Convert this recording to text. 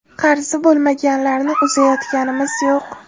Qarzi bo‘lmaganlarni uzayotganimiz yo‘q.